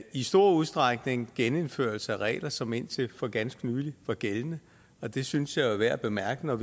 i stor udstrækning genindførelse af regler som indtil for ganske nylig var gældende og det synes jeg jo er værd at bemærke når